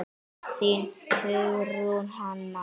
Þín, Hugrún Hanna.